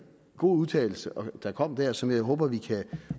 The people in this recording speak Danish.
god udtalelse der kom der som jeg håber vi